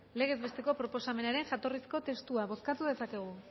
legez besteko proposamenaren jatorrizko testua bozkatu dezakegu